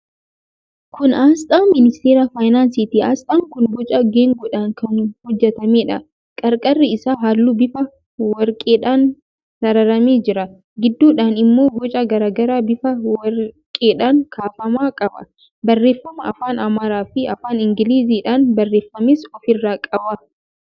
Kun aasxaa Ministeera Faayinaansiiti. Aasxaan kun boca geengoodhaan kan hojjetameedha. Qarqarri isaa halluu bifa warqeedhaan sararamee jira. Gidduudhaan immoo boca garaa garaa bifa warqeedhaan kaafame qaba. Barreeffama afaan Amaaraafi afaan Ingiliziidhaan barreeffames ofirraa qaba.